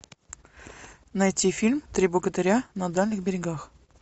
найти фильм три богатыря на дальних берегах